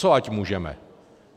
Co ať můžeme?